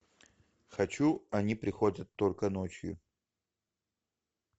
хочу они приходят только ночью